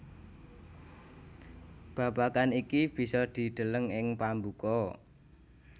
Babagan iki bisa dideleng ing pambuka